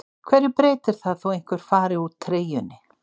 Hverju breytir það þó einhver fari úr treyjunni?